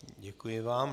Děkuji vám.